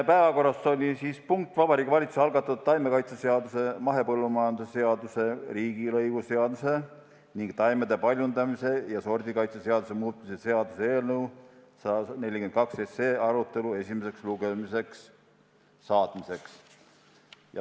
Päevakorras oli Vabariigi Valitsuse algatatud taimekaitseseaduse, mahepõllumajanduse seaduse, riigilõivuseaduse ning taimede paljundamise ja sordikaitse seaduse muutmise seaduse eelnõu 142 arutelu esimesele lugemisele saatmiseks.